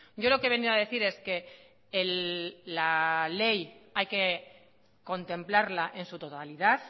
yo lo que he venido a decir es que la ley hay que contemplarla en su totalidad